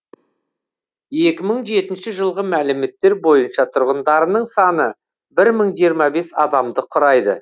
екі мың жетінші жылғы мәліметтер бойынша тұрғындарының саны бір мың жиырма бес адамды құрайды